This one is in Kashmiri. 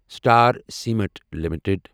star cement limited